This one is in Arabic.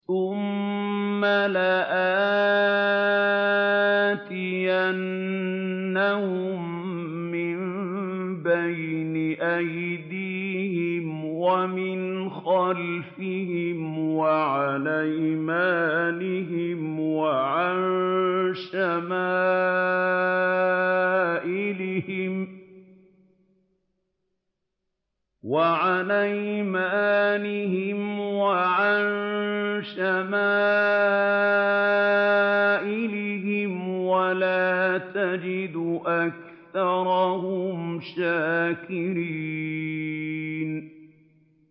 ثُمَّ لَآتِيَنَّهُم مِّن بَيْنِ أَيْدِيهِمْ وَمِنْ خَلْفِهِمْ وَعَنْ أَيْمَانِهِمْ وَعَن شَمَائِلِهِمْ ۖ وَلَا تَجِدُ أَكْثَرَهُمْ شَاكِرِينَ